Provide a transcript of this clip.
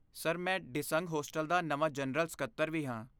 Sir, ਮੈਂ ਡਿਸੰਗ hostel ਦਾ ਨਵਾਂ ਜਨਰਲ ਸਕੱਤਰ ਵੀ ਹਾਂ।